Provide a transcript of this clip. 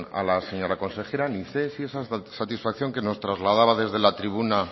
a la señora consejera ni sé si esa satisfacción que nos trasladaba desde la tribuna